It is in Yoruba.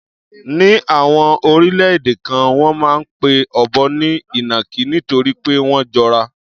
Ní àwọn orílẹ̀-èdè kan, wọ́n máa ń pe ọ̀bọ ní ìnàkí nítorí pé wọ́n jọra.